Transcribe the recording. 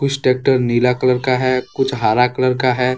कुछ ट्रैक्टर नीला कलर का है कुछ हरा कलर का है।